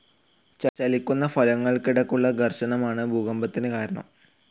ചലിക്കുന്ന ഫലകങ്ങൾക്കിടക്കുള്ള ഘർഷണമാണ്‌ ഭൂകമ്പത്തിന്‌ കാരണം.